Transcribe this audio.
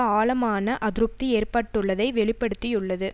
ஆழமான அதிருப்தி ஏற்பட்டுள்ளதை வெளி படுத்தியுள்ளது